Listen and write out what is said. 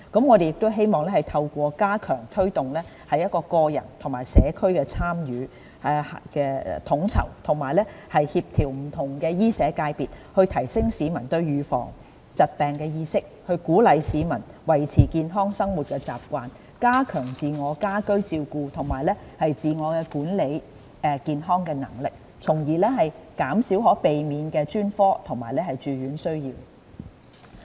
我們亦希望透過加強推動個人和社區的參與、統籌和協調不同醫社界別，提升市民對預防疾病的意識，鼓勵市民維持健康的生活習慣，加強自我和家居照顧及自我管理健康的能力，從而減少可避免的專科及住院需要。